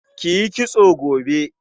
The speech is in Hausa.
Ki yi kitso gobe.